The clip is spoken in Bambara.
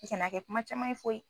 I Kana kɛ kuma caman ye foyi